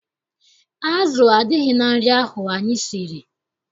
Azụ adịghị na nri ahụ anyị siri.